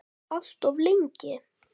Alltof lengi.